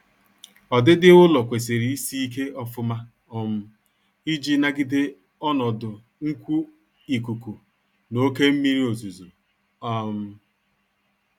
Ọdịdị ụlọ kwesịrị isị ike ofuma um iji nagide ọnọdụ nnkwu ikuku na oke mmiri ozuzo um